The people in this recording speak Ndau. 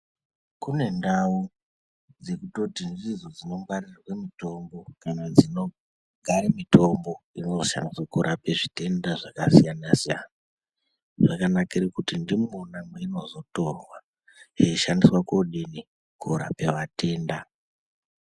Kune ndau dzekutioti ndidzo dzino gwarirwe mutombo kana dzinogare mitombo inoseenze kurape zvitenda zvakasiyana-siyana. Zvakanakire kuti ndimona mweinozotorwa yeishadiswe koodini, koorape vatenda.